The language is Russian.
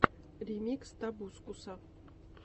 ремикс тобускуса